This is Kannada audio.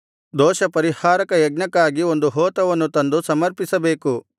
ದೋಷಪರಿಹಾರಕ ಯಜ್ಞಕ್ಕಾಗಿ ಒಂದು ಹೋತವನ್ನೂ ತಂದು ಸಮರ್ಪಿಸಬೇಕು